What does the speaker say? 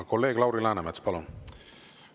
Kolleeg Lauri Läänemets, palun!